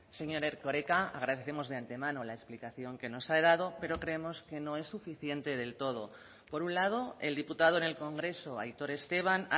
señor erkoreka agradecemos de antemano la explicación que nos ha dado pero creemos que no es suficiente del todo por un lado el diputado en el congreso aitor esteban